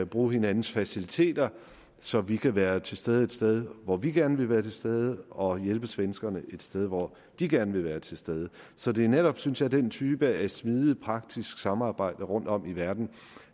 bruge hinandens faciliteter så vi kan være til stede et sted hvor vi gerne vil være til stede og få hjælp af svenskerne et sted hvor de gerne vil være til stede så det er netop synes jeg den type af smidigt praktisk samarbejde rundtom i verden